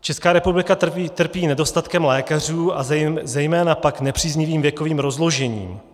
Česká republika trpí nedostatkem lékařů a zejména tak nepříznivým věkovým rozložením.